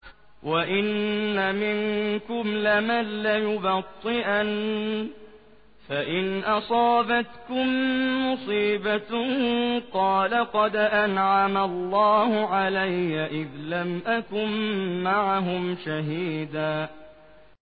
وَإِنَّ مِنكُمْ لَمَن لَّيُبَطِّئَنَّ فَإِنْ أَصَابَتْكُم مُّصِيبَةٌ قَالَ قَدْ أَنْعَمَ اللَّهُ عَلَيَّ إِذْ لَمْ أَكُن مَّعَهُمْ شَهِيدًا